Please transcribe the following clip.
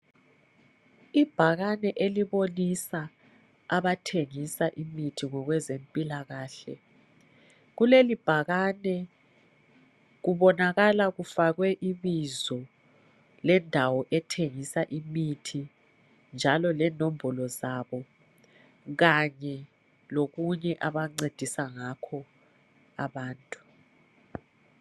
Ibhakane elibonisa abathengisa imithi ngokwezempilakahle. Kuleli bhakane kubonakala kufakwe ibizo lendawo ethengisa imithi njalo lenombolo zabo Kanye lokunye abancedisa ngakho abantu.